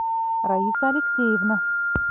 раиса алексеевна